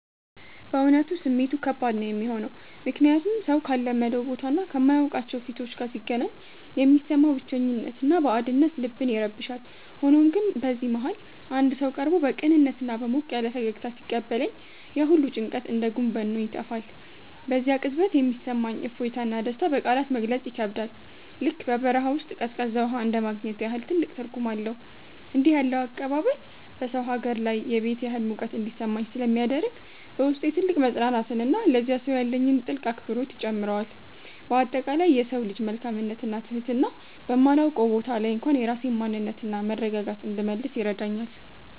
በእውነቱ ስሜቱ ከባድ ነው የሚሆነው፤ ምክንያቱም ሰው ካልለመደው ቦታና ከማያውቃቸው ፊቶች ጋር ሲገናኝ የሚሰማው ብቸኝነትና ባዕድነት ልብን ይረብሻል። ሆኖም ግን በዚህ መሃል አንድ ሰው ቀርቦ በቅንነትና በሞቅ ያለ ፈገግታ ሲቀበለኝ፣ ያ ሁሉ ጭንቀት እንደ ጉም በኖ ይጠፋል። በዚያ ቅጽበት የሚሰማኝ እፎይታና ደስታ በቃላት ለመግለጽ ይከብዳል፤ ልክ በበረሃ ውስጥ ቀዝቃዛ ውሃ እንደማግኘት ያህል ትልቅ ትርጉም አለው። እንዲህ ያለው አቀባበል በሰው ሀገር ላይ የቤት ያህል ሙቀት እንዲሰማኝ ስለሚያደርግ፣ በውስጤ ትልቅ መፅናናትንና ለዚያ ሰው ያለኝን ጥልቅ አክብሮት ይጨምረዋል። በአጠቃላይ የሰው ልጅ መልካምነትና ትህትና በማላውቀው ቦታ ላይ እንኳን የራሴን ማንነትና መረጋጋት እንድመልስ ይረዳኛል።